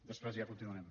després ja continuarem